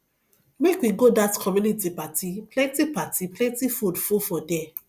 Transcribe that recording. make we go dat community party plenty party plenty food full for there